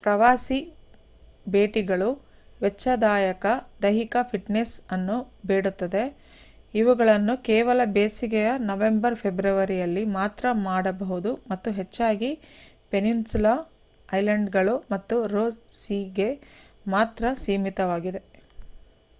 ಪ್ರವಾಸಿ ಭೇಟಿಗಳು ವೆಚ್ಚದಾಯಕ ದೈಹಿಕ ಫಿಟ್‌ನೆಸ್‌ ಅನ್ನು ಬೇಡುತ್ತವೆ ಇವುಗಳನ್ನು ಕೇವಲ ಬೇಸಿಗೆಯ ನವೆಂಬರ್‌-ಫೆಬ್ರವರಿಯಲ್ಲಿ ಮಾತ್ರ ಮಾಡಬಹುದು ಮತ್ತು ಹೆಚ್ಚಾಗಿ ಪೆನಿನ್ಸುಲಾ ಐಲ್ಯಾಂಡ್‌ಗಳು ಮತ್ತು ರೋಸ್‌ ಸೀಗೆ ಮಾತ್ರ ಸೀಮಿತವಾಗಿವೆ